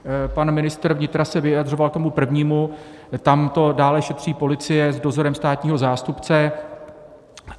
Pan ministr vnitra se vyjadřoval k tomu prvnímu, tam to dále šetří policie s dozorem státního zástupce.